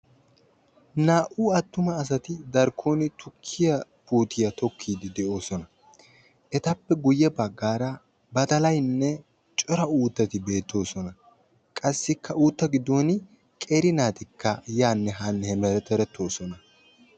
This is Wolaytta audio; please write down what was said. Naa''u attuma asati darkkon tukkiya puutiya tokkide de'oosona. Etappe guyye baggaara badalaynne cora uuttati beettoosona. Qassikka uutta giddon qeeri naati yaanne haanne hemeterettoosona.